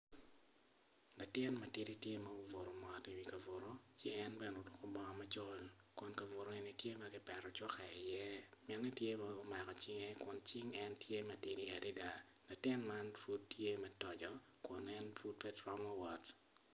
Latin matidi tye ma obuto mot iwi ka buto ci en bene oruko bongo macol kun kabuto eni tye ma kipeto cuka iye mine tye ma omako cinge kun cing en tye m atidi adada latin man pud tye ma toco kun en pud pe romo wot.